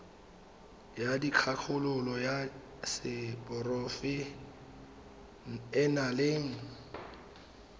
ya dikgakololo ya seporofe enale